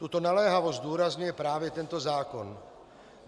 Tuto naléhavost zdůrazňuje právě tento zákon.